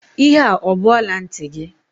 Ihe a ọ bụ ọla ntị gị?